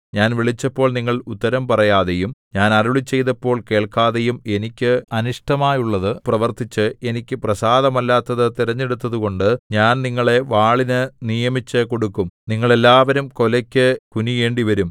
ഞാൻ വിളിച്ചപ്പോൾ നിങ്ങൾ ഉത്തരം പറയാതെയും ഞാൻ അരുളിച്ചെയ്തപ്പോൾ കേൾക്കാതെയും എനിക്ക് അനിഷ്ടമായുള്ളതു പ്രവർത്തിച്ച് എനിക്ക് പ്രസാദമല്ലാത്തതു തിരഞ്ഞെടുത്തതുകൊണ്ട് ഞാൻ നിങ്ങളെ വാളിനു നിയമിച്ചുകൊടുക്കും നിങ്ങൾ എല്ലാവരും കൊലയ്ക്ക് കുനിയേണ്ടിവരും